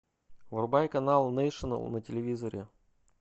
врубай канал нейшенл на телевизоре